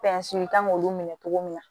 kan k'olu minɛ cogo min na